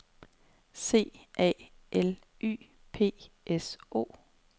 C A L Y P S O